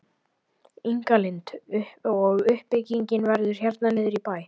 Inga Lind: Og uppbyggingin verður hérna niður í bæ?